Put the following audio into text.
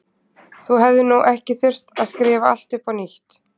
Þú hefðir nú ekki þurft að skrifa allt upp á nýtt.